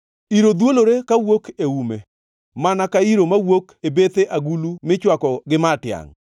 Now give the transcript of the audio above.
Iro dhwolore kawuok e ume mana ka iro mawuok e bethe agulu michwako gi ma tiangʼ.